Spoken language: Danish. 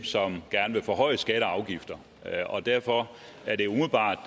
som gerne vil forhøje skatter og afgifter derfor er det umiddelbart